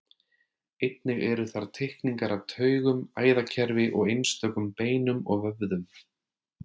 Einnig eru þar teikningar af taugum, æðakerfi og einstökum beinum og vöðvum.